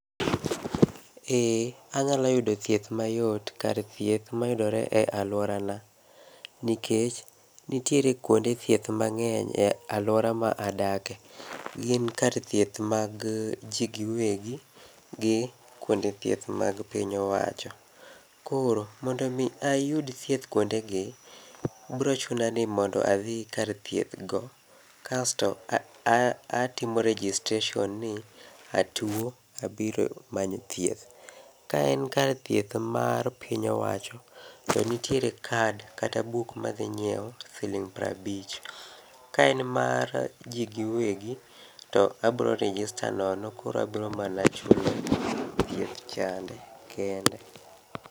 Ee, anyalo yudo thieth mayot kar thieth mayudore e aluorana, nikech nitiere kuonde thieth mang'eny e aluora ma adakie. Gin kar thieth mag ji giwegi, gi kuonde thieth mag piny owacho. Koro mondo mi ayud thieth kuondegi, biro chuna ni mondo adhi kar thieth go, kasto atimo registration ni atuo abiro manyo thieth. Ka en kar thieth mar piny owacho, to nitiere kad kata buk ma adhi nyiewo siling piero abich. Ka en mar ji giwegi to abiro register nono koro abiro mana chulo thieth chande kende.